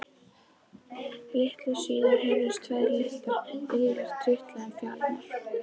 Litlu síðar heyrðust tvær litlar iljar trítla um fjalirnar.